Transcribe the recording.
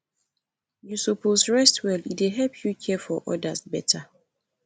you suppose dey rest well e dey help you care for odas beta